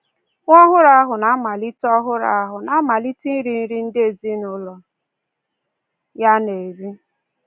Nwa ọhụrụ ahụ na-amalite ọhụrụ ahụ na-amalite iri nri ndị ezinụụlọ ya na-eri.